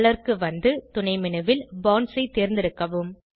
colour க்கு வந்து துணை மேனு ல் பாண்ட்ஸ் ஐ தேர்ந்தெடுக்கவும்